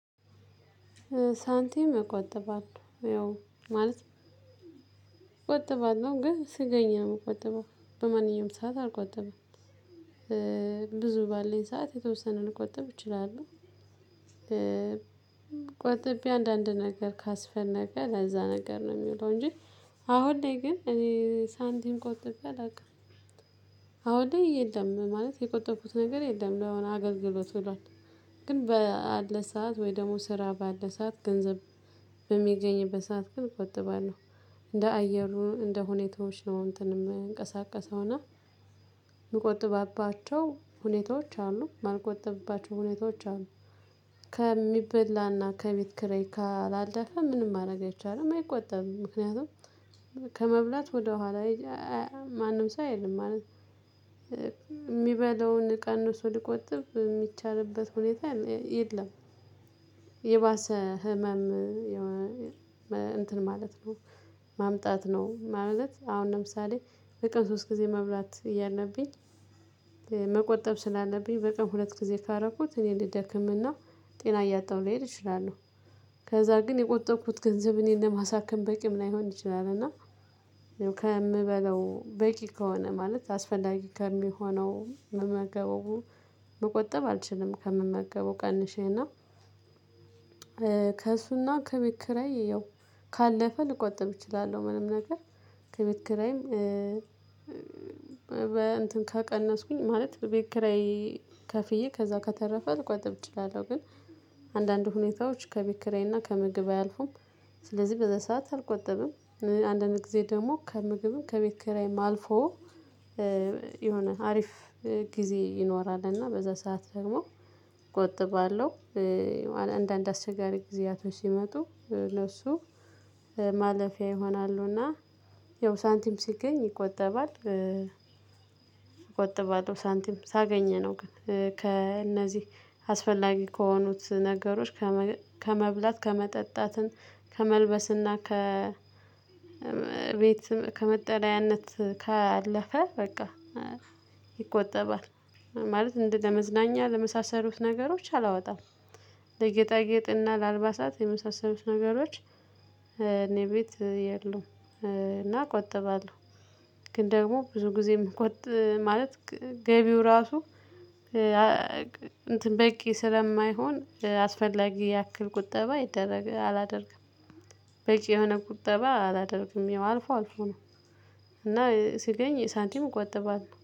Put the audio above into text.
ሳንቲም እቆጥባለሁ ያው ማለት እቆጥባለሁ ግን ሲገኝ ነው የምቆጥበው በማንኛውም ሰዓት አልቆጥብም። ብዙ ባለኝ ሰዓት የተወሰነ ልቆጥብ እችላለሁ። ቆጥቤ አንዳንድ ነገር ካስፈለገ ለዛ ነገር ነው የሚውለው እንጂ አሁን ላይ ግን እኔ ሳንቲም ቆጥቤ አላውቅም። አሁን ላይ የለም ማለት የቆጠብኩት ነገር የለም ለሆነ አገልግሎት ውሏል። ግን በዓለ ሰዓት ወይ ደግሞ ስራ ባለ ሰዓት ገንዘብ በሚገኝበት ሰዓት ግን እቆጥባለሁ። እንደ አየሩ እንደ ሁኔታዎች ነው እንትን ምንቀሳቀሰው እና የምቆጥብባቸው ሁኔታዎች አሉ የማልቆጥብባቸው ሁኔታዎች አሉ። ከሚበላና ከቤት ኪራይ ካላለፈ ምንም ማረገ አይቻልም አይቆጠብም ምክንያቱም ከመብላት ወደኋላ ማንም ሰው አይልም ማለት ሚበላውን ቀንሶ ሊቆጥብ የሚቻልበት ሁኔታ የለም። የባሰ ህመም እንትን ማለት ነው። ማምጣት ነው ማለት አሁን ለምሳሌ በቀን ሶስት ጊዜ መብላት እያለብኝ መቆጠብ ስላለብኝ በቀን ሁለት ጊዜ ካረኩት እኔ ልደክምና ጤና እያጣሁ ልሄድ እችላለሁ። ከዛ ግን የቆጠብኩት ገንዘብ እኔን ለማሳከም በቂም ላይሆን ይችላል። እና ከምበለው በቂ ከሆነ ማለት አስፈላጊ ከሚሆነው ምመገበው መቆጠብ አልችልም። ከምመገበው ቀንሼና ከእሱና ከቤት ኪራይ ያው ካለፈ ልቆጥብ እችላለሁ። ምንም ነገር ከቤት ኪራይም በ እንትን ከቀነስኩኝ ማለት ቤት ኪራይ ከፍዬ ከዛ ከተረፈ ልቆጥብ እችላለሁ። ግን አንዳንድ ሁኔታዎች ከቤት ኪራይና ከምግብ አያልፉም ስለዚህ በዛ ሰዓት አልቆጥብም። አንዳንድ ጊዜ ደግሞ ከምግብም ከቤት ኪራይም አልፎ የሆነ አሪፍ ጊዜ ይኖራል እና በዛ ሰዓት ደግሞ እቆጥባለሁ። አንዳንድ አስቸጋሪ ጊዜያቶች ሲመጡ ለሱ ማለፊያ ይሆናሉ እና ያው ሳንቲም ሲገኝ ይቆጠባል። እቆጥባለሁ ሳንቲም ሳገኝ ነው ግን ከእነዚህ አስፈላጊ ከሆኑት ነገሮች ከመብላት ከመጠጣት ከመልበስና ከቤት ከመጠለያነት ካለፈ በቃ ይቆጠባል። ማለት እንዲ ለመዝናኛ ለመሳሰሉት ነገሮች አላወጣም። ለጌጣጌጥና ለአልባሳት የመሳሰሉት ነገሮች እኔ ቤት የሉም እና እቆጥባለሁ። ግን ደግሞ ብዙ ጊዜ የምቆጥብ ማለት ገቢው ራሱ እንትን በቂ ስለማይሆን አስፈላጊ ያክል ቁጠባ አላደርግም። በቂ የሆነ ቁጠባ አላደርግም ያው አልፎ አልፎ ነው። እና ሲገኝ ሳንቲም እቆጥባለሁ